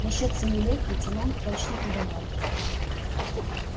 насчёт семи лет лейтенант точно угадал